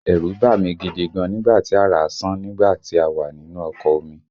Ẹ̀rù bá mí gidi gan nígbà tí àrá sán nígbà tí a wà nínú ọkọ̀ omi